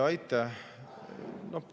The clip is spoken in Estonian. Aitäh!